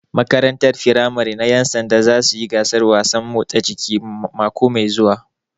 Makarantar firamare na ƴan sanda za suyi gasar wasan motsa jiki mako mai zuwa